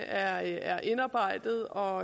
er indarbejdet og